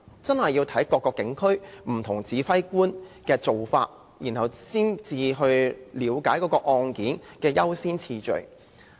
這視乎各個警區不同指揮官的做法，才可了解案件的優先次序。